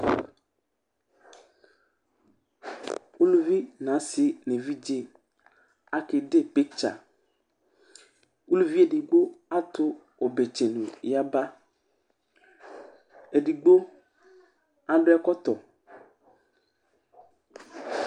Ʋlʋvi ŋu asi ŋu evidze ake Ɖe picture Ʋlʋvi ɛɖigbo atu ɔbɛ tsenu yaba Ɛɖigbo aɖu ɛkɔtɔ